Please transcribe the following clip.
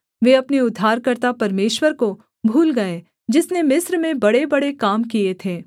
वे अपने उद्धारकर्ता परमेश्वर को भूल गए जिसने मिस्र में बड़ेबड़े काम किए थे